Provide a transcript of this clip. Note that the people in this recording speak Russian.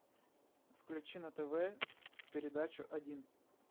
включи на тв передачу один